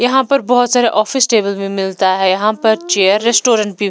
यहां पर बहुत सारे ऑफिस टेबल भी मिलता है यहां पर चेयर रेस्टोरेंट भी--